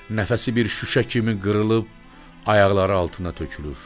Nəfəsi bir şüşə kimi qırılıb, ayaqları altına tökülür.